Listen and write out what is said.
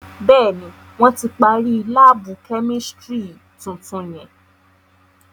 Béèni, wọn tí parí laabu kẹ́místrì tuntun yẹn